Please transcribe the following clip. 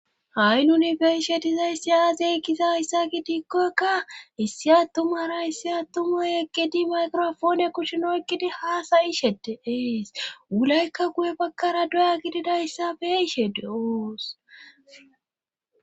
Ha7i nuni beishetizayssi aazey giza hayssa gi diikkokka issi attumara issi atumuyeqqedi mayqirofoone kucshunoykkidi haasayishede eees wulaykka guye bakkara doya gididayssa beeshe do7os.